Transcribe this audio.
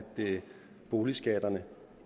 boligskatterne